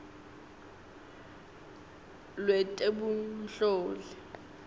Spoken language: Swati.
lwetebunhloli